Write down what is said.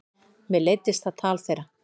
Mér leiddist það tal þeirra.